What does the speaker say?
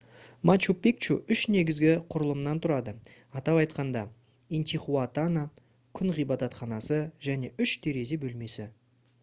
мачу пикчу үш негізгі құрылымнан тұрады атап айтқанда интихуатана күн ғибадатханасы және үш терезе бөлмесі